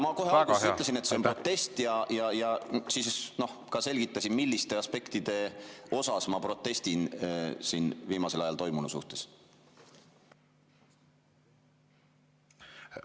Ma kohe alguses ütlesin, et see on protest, ja siis ka selgitasin, milliste aspektide vastu viimasel ajal toimunu suhtes ma protestin siin.